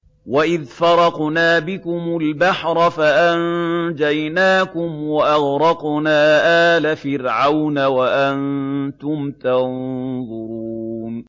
وَإِذْ فَرَقْنَا بِكُمُ الْبَحْرَ فَأَنجَيْنَاكُمْ وَأَغْرَقْنَا آلَ فِرْعَوْنَ وَأَنتُمْ تَنظُرُونَ